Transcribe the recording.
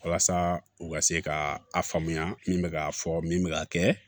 Walasa u ka se ka a faamuya min bɛ k'a fɔ min bɛ k'a kɛ